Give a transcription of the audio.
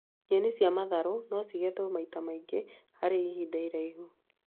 Nyeni cia matharũ no cigethwo maita maingĩ harĩ ĩhinda ĩraihu